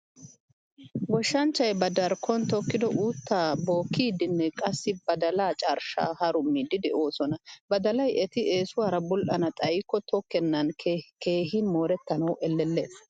Goshshanchchay ba darkkon tokkido uutta bookkidinne qassi badalaa carshsha harummidi de'osona. Badalaay eti eesuwaara bull'ana xayikko takkenan keehin morettanawu ellellees.